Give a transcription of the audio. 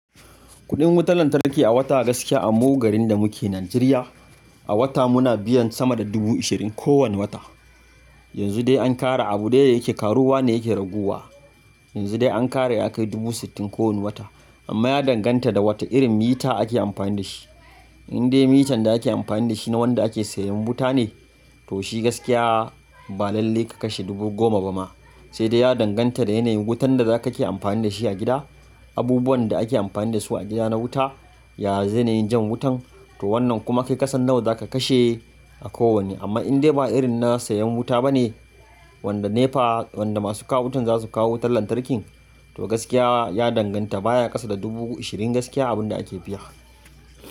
Kuɗin wutar lantarki a wata gaskiya a mu garin da muke Najeriya, a wata muna biyan sama da dubu ashirin kowane wata. Yanzu dai an ƙara abu dai yake karuwa ne yake raguwa. Yanzu dai an ƙara ya kai dubu sittin kowane wata amma ya danganta da wata irin mita ake amfani da shi. In dai mitan da ake amfani da shi na wanda ake sayan wuta ne, to shi gaskiya ba lallai ka kashe dubu goma ba ma. Sai dai ya danganta da yanayin wutan da za ka ke amfani da shi a gida. Abubuwan da ake amfani da su a gida na wuta, ya yanayin jan wutan to wannan kuma kai kasan nawa za ka kashe a kowanne. Amma in dai ba irin na sayan wuta ba ne wanda NEPA, wanda masu kawo wutan za su kawo wutar lantarkin to gaskiya ya danganta baya ƙasa da dubu ashirin gaskiya abin da ake biya.